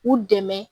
U dɛmɛ